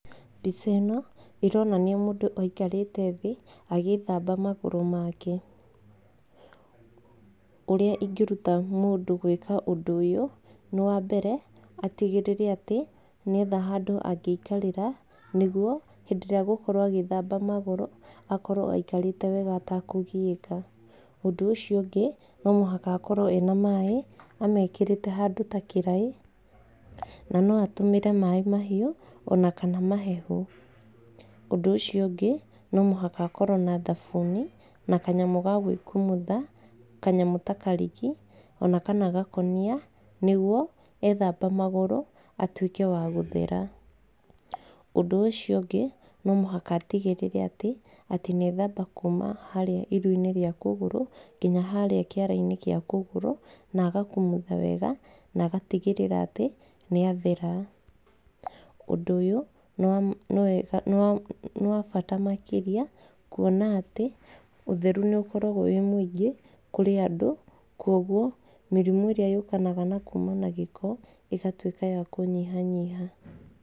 Mbica ĩno ĩronania mũndũ aikarĩte thĩ agĩthamba magũrũ make, ũrĩa ingĩruta mũndũ gwĩka ũndũ ũyũ, nĩ wa mbere atigĩrĩre atĩ nĩetha handũ angĩikarĩra nĩguo hĩndĩrĩa egũkorwo agĩthamba magũrũ, akorwo aikarĩte wega atekũgiĩka, ũndũ ũcio ũngĩ no mũhaka akorwo ena maĩ, amekĩrĩte handũ ta kĩraĩ, na noatũmĩre maĩ mahimũ, onakana mahehu, ũndũ ũcio ũngĩ nomũhaka akorwo na thabuni, na kanyamũ gagwĩkumutha, kanyamũ takariki, ona kana gakũnia, nĩguo ethamba magũrũ atuĩke wa gũthera, ũndũ ũcio ũngĩ nomohaka atigĩrĩre atĩ, atĩ nĩethamba kuuma harĩa iru-inĩ rĩa kũgũru, nginya harĩa kĩara-inĩ gĩa kũgũrũ, nagakumutha wega, nagatigĩrĩra atĩ nĩathera, ũndũ ũyũ nĩ nĩwa nĩwega nĩwabata makĩria, kuona atĩ ũtheru nĩ ũkoragwo wĩ mũingĩ kũrĩ andũ, kwoguo mĩrimũ ĩrĩa yokanaga nakuma na gĩko, ĩgatuĩka ya kũnyihanyiha.